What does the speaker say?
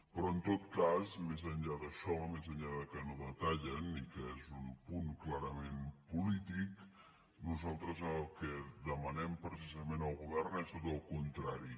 però en tot cas més enllà d’això més enllà que no detallen i que és un punt clarament polític nosaltres el que demanem precisament al go·vern és tot el contrari